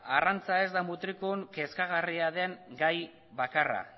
arrantza ez da mutrikun kezkagarria den gai bakarra